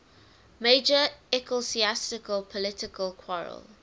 major ecclesiastical political quarrel